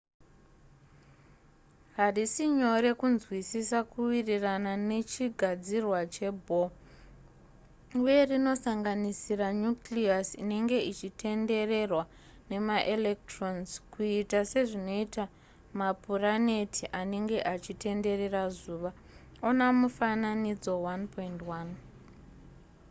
harisi nyore kunzwisisa kuwirirana nechigadzirwa chebohr uye rinosanganisira nucleus inenge ichitendererwa nemaelectrons kuita sezvinoita mapuraneti anenge achitenderera zuva ona mufananidzo 1.1